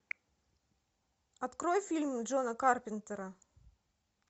открой фильм джона карпентера